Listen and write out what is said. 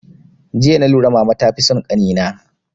Jiya na lura mama ta fi son kani na